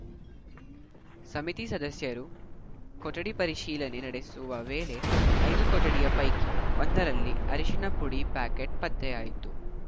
ಸಮಿತಿ ಸದಸ್ಯರು ಕೊಠಡಿ ಪರಿಶೀಲನೆ ನಡೆಸುವ ವೇಳೆ ಐದು ಕೊಠಡಿಯ ಪೈಕಿ ಒಂದರಲ್ಲಿ ಅರಿಶಿನಪುಡಿ ಪ್ಯಾಕೆಟ್‌ ಪತ್ತೆಯಾಯಿತು